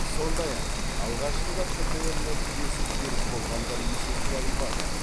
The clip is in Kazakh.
сондай ақ алғашында птр нәтижесі теріс болғандар есепке алынбады